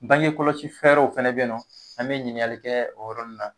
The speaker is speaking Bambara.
Bange kɔlɔsi fɛɛrɛw fɛnɛ bɛ ye nɔ an bɛ ɲininkali kɛ o yɔrɔ nun na.